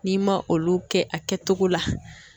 N'i ma olu kɛ a kɛtogo la.